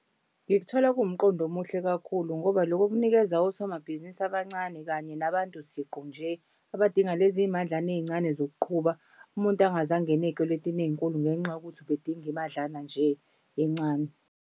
Ngikuthola kuwumqondo omuhle kakhulu ngoba loko kunikeza osomabhizinisi abancane kanye nabantu siqu nje abadinga lezi madlana ey'ncane zokuqhuba umuntu angaze angena ey'kweletini ey'nkulu ngenxa yokuthi ubedinga imadlana nje encane.